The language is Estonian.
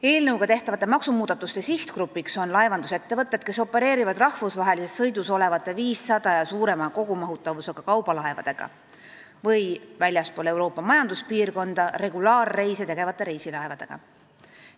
Eelnõuga tehtavate maksumuudatuste sihtgrupp on laevandusettevõtted, kes opereerivad rahvusvahelises sõidus olevate 500 ja suurema kogumahutavusega kaubalaevadega või väljaspool Euroopa Majanduspiirkonda regulaarreise tegevate reisilaevadega.